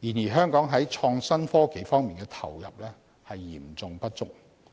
然而，香港在創新科技方面的投入嚴重不足，